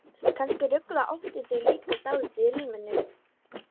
Kannski ruglaði óttinn þau líka dálítið í ríminu.